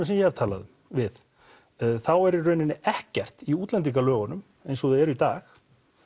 sem ég hef talað við þá er í rauninni ekkert í útlendingalögunum eins og þau eru í dag